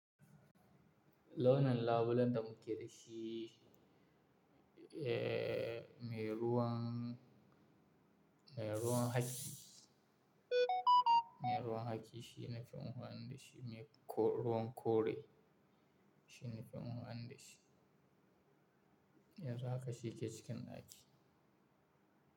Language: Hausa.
Launin labulen da mu ke da shi, eh, mai ruwan, mai ruwan haki, mai ruwan haki shine fi amfani da shi, mai ruwan kore shine fi amfani da shi. Yanzu haka shi ke cikin daki.